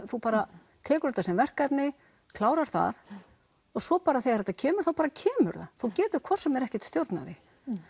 þú bara tekur þetta sem verkefni klárar það og svo bara þegar það kemur þá kemur það þú getur hvort sem er ekkert stjórnað því